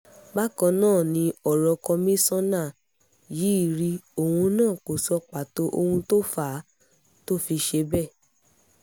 bákan náà ni ọ̀rọ̀ kọmíṣánná yìí rí òun náà kó sọ pàtó ohun tó fà á tó fi ṣe bẹ́ẹ̀